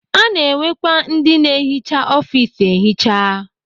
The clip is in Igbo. Ana enwekwa ndị na-ehicha ọfis ehicha.